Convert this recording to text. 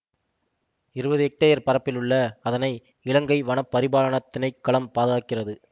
இருபது ஹெக்டேயர் பரப்பில் உள்ள அதனை இலங்கை வன பரிபாலனத் திணைக்களம் பாதுகாக்கிறது